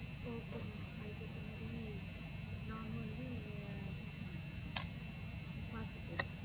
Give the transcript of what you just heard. okay mam அந்த மாறி நாங்க வந்து இங்க மாத்திகறேன்